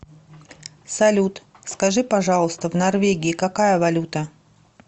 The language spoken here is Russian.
салют скажи пожалуйста в норвегии какая валюта